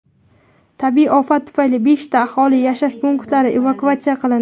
Tabiiy ofat tufayli beshta aholi yashash punktlari evakuatsiya qilindi.